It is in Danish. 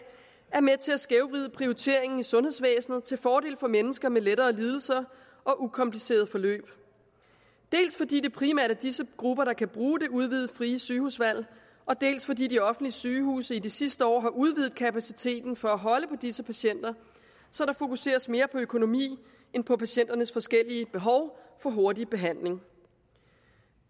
er med til at skævvride prioriteringen i sundhedsvæsenet til fordel for mennesker med lettere lidelser og ukomplicerede forløb dels fordi det primært er disse grupper der kan bruge det udvidede frie sygehusvalg dels fordi de offentlige sygehuse i de sidste år har udvidet kapaciteten for at holde på disse patienter så der fokuseres mere på økonomi end på patienternes forskellige behov for hurtig behandling